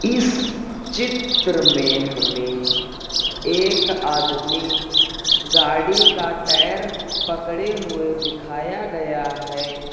इस चित्र में हमें एक आदमी गाड़ी का टैर पकड़े हुए दिखाया गया है।